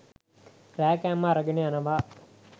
රෑ කෑම අරගෙන යනවා.